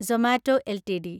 Zomato LTD